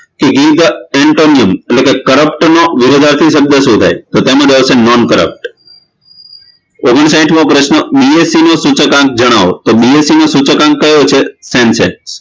give the antonyms એટલે કે corrupt નો વિરુદ્ધાર્થી શબ્દ શું થાય તો તેઓ જવાબ આવશે non corrupt ઓગનસાંઠમો પ્રશ્ન બી એસ સી નું સૂચકઆંક જણાવો તો બી એસ સી નું સૂચકઆંક કયો છે